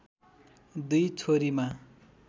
दुई छोरीमा